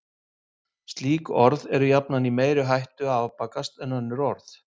Slík orð eru jafnan í meiri hættu að afbakast en önnur orð.